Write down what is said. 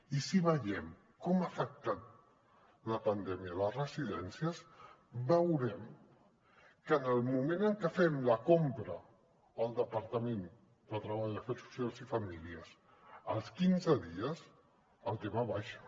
i si veiem com ha afectat la pandèmia a les residències veurem que en el moment en què fem la compra el departament de treball afers socials i famílies als quinze dies el tema baixa